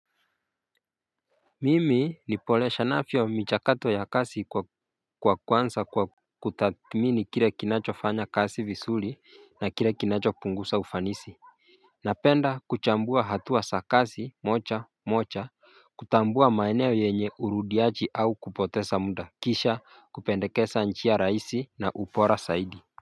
Mimi nipolexanafyo michakato ya kazi kwa kuanza kwa kutadhimini kile kinacho fanya kazi vizuri na kile kinacho punguza ufanisi. Napenda kuchambua hatuwa za kazi moja moja kutambua maenyo yenye urudiyachi au kupotesa muda kisha kupendekeza njia rahisi na ubora saidi.